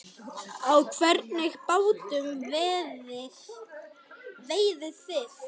Á hvernig bátum veiðið þið?